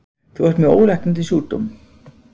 Þú ert með ólæknandi sjúkdóm.